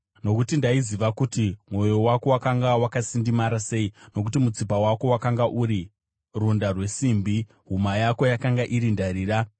Nokuti ndaiziva kuti mwoyo wako wakanga wakasindimara sei; nokuti mutsipa wako wakanga uri runda rwesimbi, huma yako yakanga iri ndarira.